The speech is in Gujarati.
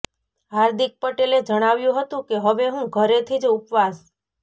હાર્દિક પટેલે જણાવ્યું હતું કે હવે હું ઘરેથી જ ઉપવાસ